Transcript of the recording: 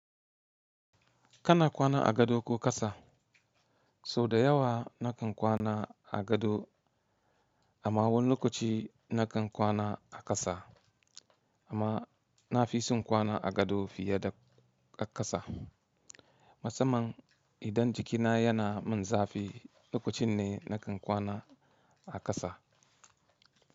Kana kwana a gado ko ƙasa? Sau da yawa nakan kwana a gado amma wani lokaci nakan kwana a ƙasa. Amma na fi son kwana a gado fiye da ƙasa. Musamman idan jikina yana min zafi, lokacin ne nakan kwana a ƙasa.